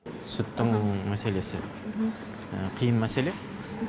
сүттің мәселесі қиын мәселе